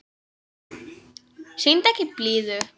Sýndu ekki blíðu.